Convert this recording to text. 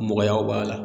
Nɔgɔyaw b'a la